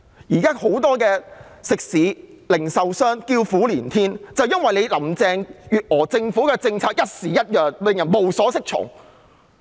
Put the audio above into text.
現在很多食肆、零售商叫苦連天，原因正是林鄭月娥政府的政策朝令夕改，令人無所適從。